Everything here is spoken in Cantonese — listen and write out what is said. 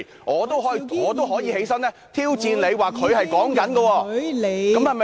我也可以站起來挑戰你，說他正在這樣說話。